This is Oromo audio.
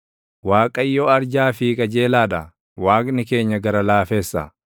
Waaqayyo arjaa fi qajeelaa dha; Waaqni keenya gara laaffessa.